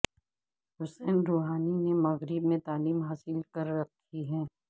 حسن Rouhani نے مغرب میں تعلیم حاصل کر رکھی ہے